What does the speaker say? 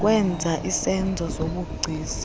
kwenza izenzo zobugcisa